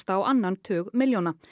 á annan tug milljóna